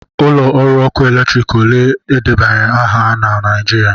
Ụlọ ọrụ ọkụ eletrik ole edebanyere aha ha nọ na Naịjirịa??